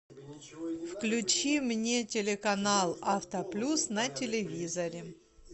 включи мне телеканал авто плюс на телевизоре